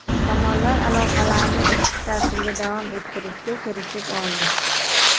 Tomonlar aloqalarni ishchi tartibda davom ettirishga kelishib oldi.